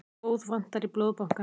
Blóð vantar í Blóðbankann